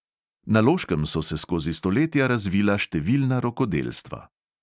Na loškem so se skozi stoletja razvila številna rokodelstva.